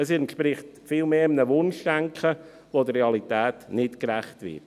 Es entspricht vielmehr einem Wunschdenken, das der Realität nicht gerecht wird.